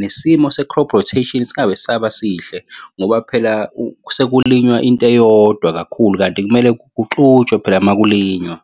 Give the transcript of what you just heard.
nesimo se-crop rotation singabe sisaba sihle ngoba phela sekulinywa into eyodwa kakhulu kanti kumele kuxutshwa phela uma kulinywa.